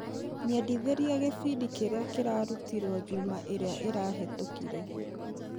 Nyendithĩrĩria gĩbindi kĩrĩa kĩrarutirwo juma ĩrĩa ĩrahetũkire.